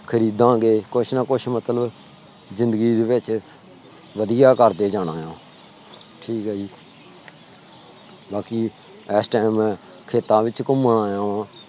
ਖਰੀਦਾਗੇ । ਕੁੱਛ ਨਾ ਕੁੱਛ ਮਤਲਬ ਜਿਦੰਗੀ ਚ ਵਦੀਆ ਕਰਦੇ ਜਾਣਾ ਆ ਠੀਕ ਆ ਜੀ ਬਾਕੀ ਇਸ time ਖੇਤਾਂ ਵਿੱਚ ਘੁੰਮਣ ਆਇਆ ਵਾ